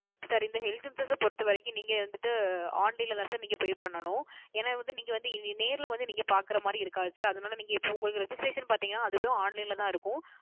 Sir இந்த Health Insurance பொருத்த வரைக்கும் நீங்க வந்து Online ல தான் நீங்க வந்து Pay பண்ணனும் ஏன்ன வந்து நீங்க வந்து நேரில் வந்து பார்க்கின்ற மாதிரி இருக்காது Sir அதுனால இப்போ நீங்க உங்க Registration பார்த்திங்கனா அதுவும் Online ல தான் இருக்கும்